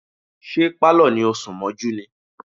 Ṣé Pálọ̀ ni ó sún mọ́jú ni?